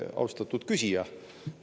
Austatud küsija!